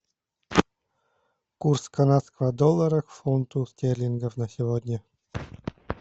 курс канадского доллара к фунту стерлингов на сегодня